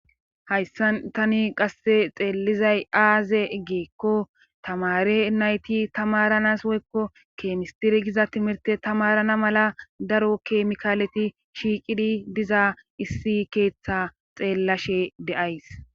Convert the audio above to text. Hayssan tani qasse xeellizay aaze egeekko tamare nayti tamaranas woykko keemistiri giza timirte tamarana mala daro keemikaaleti shiiqidi diza issi keeththa xeellashe deays.